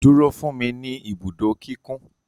Duro fun mi ni ibudo kikun